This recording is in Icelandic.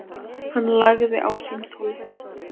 Hann lagði á símtólið.